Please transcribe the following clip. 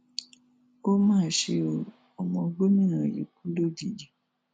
ó mà ṣe ọ ọmọ gómìnà yìí kú lójijì